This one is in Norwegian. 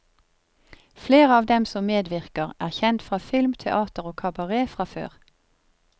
Flere av dem som medvirker er kjent fra film, teater og kabaret fra før.